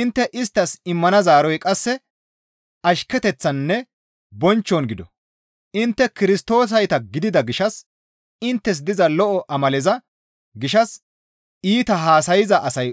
Intte isttas immana zaaroy qasse ashketeththaninne bonchchon gido; intte Kirstoosayta gidida gishshas inttes diza lo7o amaleza gishshas iita haasayza asay